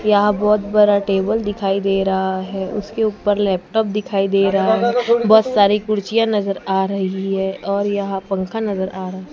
यहां बहोत बड़ा टेबल दिखाई दे रहा है उसके ऊपर लैपटॉप दिखाई दे रहा है बहोत सारे कुर्सीयां नजर आ रही है और यहां पंखा नजर आ रहा है।